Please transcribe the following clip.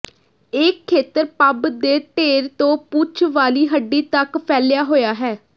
ਇਹ ਖੇਤਰ ਪੱਬ ਦੇ ਢੇਰ ਤੋਂ ਪੂਛ ਵਾਲੀ ਹੱਡੀ ਤੱਕ ਫੈਲਿਆ ਹੋਇਆ ਹੈ